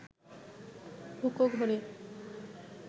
হুঁকো ঘোরে